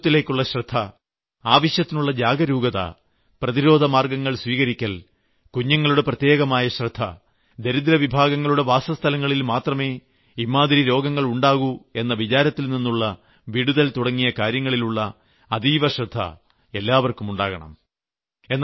ശുചിത്വത്തിലേക്കുള്ള ശ്രദ്ധ ആവശ്യത്തിനുള്ള ജാഗരൂകത പ്രതിരോധമാർഗ്ഗങ്ങൾ സ്വീകരിക്കൽ കുഞ്ഞുങ്ങളുടെ പ്രത്യേകമായ ശ്രദ്ധ ദരിദ്രവിഭാഗങ്ങളുടെ വാസസ്ഥലങ്ങളിൽ മാത്രമേ ഇമ്മാതിരി രോഗങ്ങൾ ഉണ്ടാകു എന്ന വിചാരത്തിൽ നിന്നുള്ള വിടുതൽ തുടങ്ങിയ കാര്യങ്ങളിലുള്ള അതീവ ശ്രദ്ധ എല്ലാവർക്കും ഉണ്ടാകണം